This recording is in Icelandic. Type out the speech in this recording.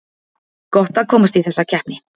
Gott að komast í þessa keppni